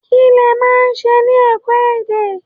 Kí lẹ máa ń ṣe ní ẹ̀kọ́-èdè?